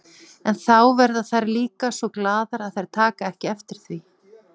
En þá verða þær líka svo glaðar að þær taka ekki eftir því.